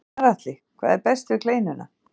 Gunnar Atli: Hvað er best við kleinuna?